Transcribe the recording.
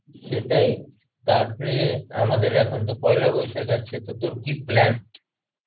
সেটাই, তারপরে আমাদের এখন তো পয়লা বৈশাখ আসছে তো তোর কি plan?